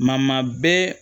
Ma bɛɛ